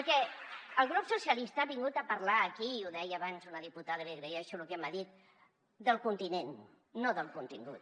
perquè el grup socialistes ha vingut a parlar aquí i ho deia abans una diputada i li agraeixo lo que m’ha dit del continent no del contingut